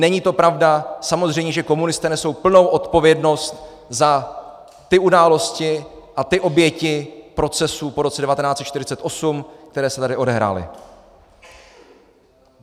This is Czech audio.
Není to pravda, samozřejmě že komunisté nesou plnou odpovědnost za ty události a ty oběti procesů po roce 1948, které se tady odehrály.